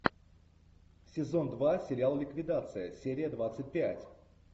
сезон два сериал ликвидация серия двадцать пять